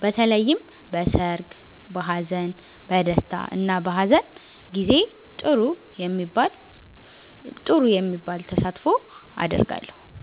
በተለይም በሰርግ፣ በሃዘን፣ በ ደስታ እና በሃዘን ጊዜ ጥሩ የሚባል ተሳትፎ አደርጋለሁ።